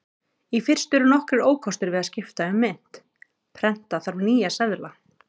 Í fyrstu eru nokkrir ókostir við að skipta um mynt: Prenta þarf nýja seðla.